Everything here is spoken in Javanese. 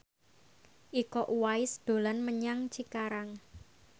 Iko Uwais dolan menyang Cikarang